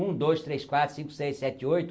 Um, dois, três, quatro, cinco, seis, sete, oito.